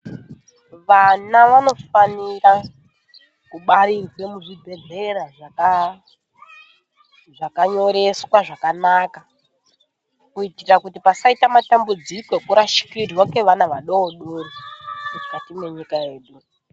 Vana vanofanira kubarirwe muzvibhehlera zvakanyoreswa zvakanaka kuite kuti pasaite madambudziko ekurashikirwe ngevana vadodori mukati mwenyika yedu.